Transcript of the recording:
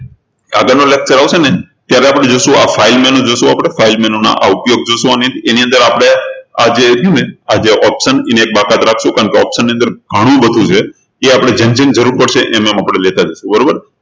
આગળનો lecture આવશે ને ત્યારે આપણે જોશું આ file menu નું જોશું આપણે file menu ના ઉપયોગ જોશું આપણે એની અંદર આપણે આ જે છે ને આ option જે એને બાકાત રાખશું કારણકે option ની અંદર ઘણું બધું છે એ આપણે જેમ જેમ જરૂર પડશે એમ એમ આપણે લેતા જઈશું બરોબર